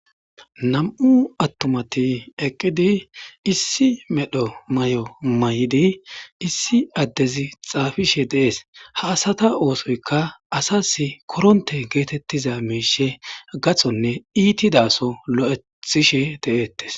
Nam7u attumati eqqidi issi medho may7o may7idi issi addezi xaafishe deees ha asata oosoyka asas koronte geetettiza miishe gathonne iitidaso lo7ethishe de7eettes.